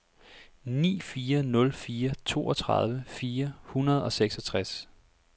ni fire nul fire toogtredive fire hundrede og seksogtres